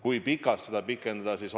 Kui pikalt seda pikendada?